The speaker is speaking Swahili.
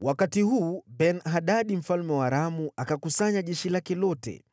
Wakati huu, Ben-Hadadi mfalme wa Aramu akakusanya jeshi lake lote.